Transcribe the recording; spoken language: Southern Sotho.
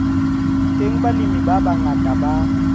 teng balemi ba bangata ba